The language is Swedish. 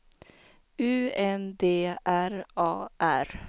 U N D R A R